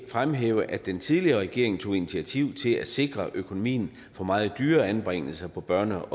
fremhæve at den tidligere regering tog initiativ til at sikre økonomien på meget dyre anbringelser på børne